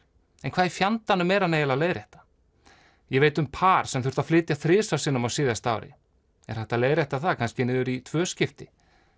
en hvað í fjandanum er hann eiginlega að leiðrétta ég veit um par sem þurfti að flytja þrisvar á síðasta ári er hægt að leiðrétta það kannski niður í tvö skipti